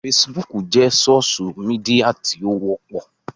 Fesibúùkù jẹ́ sósú midià tí ó wọ́pọ̀